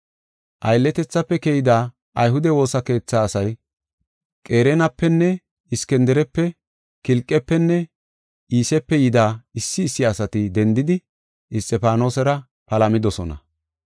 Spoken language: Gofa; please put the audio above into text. Aylletethafe keyida ayhude woosa keetha asay Qereenapenne Iskindirepe Kilqefenne Iisepe yida issi issi asati dendidi Isxifaanosera palamidosona.